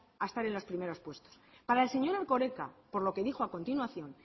a estar en los primeros puestos para el señor erkoreka por lo que dijo a continuación